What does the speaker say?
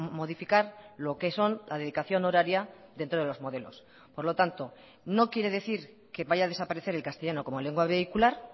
modificar lo que son la dedicación horaria dentro de los modelos por lo tanto no quiere decir que vaya a desaparecer el castellano como lengua vehicular